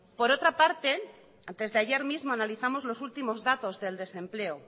por otra parte antes de ayer mismo analizamos los últimos datos del desempleo